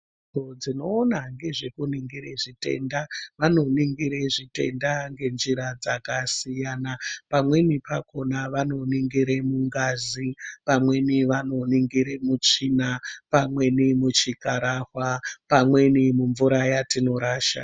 Nzvimbo dzinoona ngezvekuningira zvitenda, vanoningira zvitenda ngenjira dzakasiyana, pamweni pakhona vanoningira mungazi, pamweni vanoningira mutsvina, pamweni muchikhararwa, pamweni mumvura yatinorasha.